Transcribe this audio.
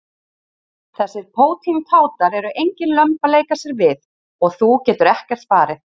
Þessir pótintátar eru engin lömb að leika sér við og þú getur ekkert farið.